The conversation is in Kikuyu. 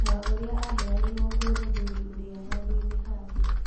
Na ũrĩa aheanirwo kwĩ mũthuri ũrĩa handũinĩ hake.